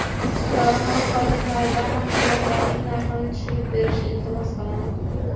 Dorixona xodimidan mahsulotlarning narxini tushirib berishini iltimos qilaman.